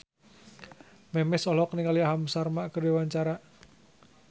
Memes olohok ningali Aham Sharma keur diwawancara